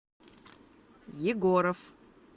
егоров